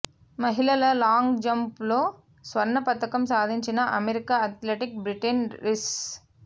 మహిళల లాంగ్ జంప్లో స్వర్ణ పతకం సాధించిన అమెరికా అథ్లెట్ బ్రిట్నీ రీస్